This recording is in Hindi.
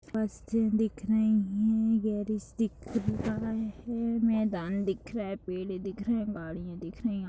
बस स्टैंड दिख रही हैं गेराज दिख रहा है मैदान दिख रहा है पेड़ दिख रहे हैं गाड़ियां दिख रही हैं ऑटो --